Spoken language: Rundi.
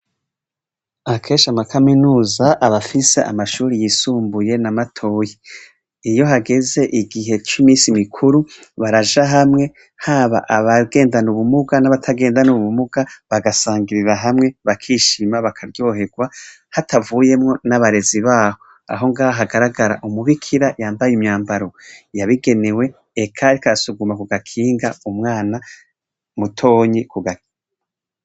Akenshi amakaminuza aba afise amashure yisumbuye na matoyi. Iyo hageze igihe c'iminsi mikuru, baraja hamwe, haba abagendana ubumuga n'abatagendana ubumuga, bagasangirira hamwe, bakishima, bakaryoherwa, hatavuyemwo n'abarezi baho. Aho ngaha hagaragara umubikira yambaye imyambaro yabigenewe, eka ariko arasuguma ku gakinga umwana mutonyi ku gakinga.